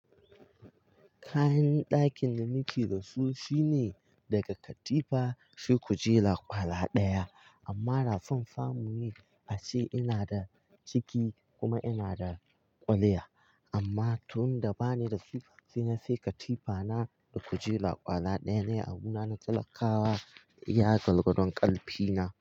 Kayan ɗakin da nake da su shine daga katifa, shi kujela, kwala ɗaya amma rafin fa muyi bashi ina da ciki kuma ina da kwaliya. Amma tun da ba ni da sifafina sai katifa na da kujera kwala ɗaya ne a bu na na talakawa iya golgodon ƙalfi na.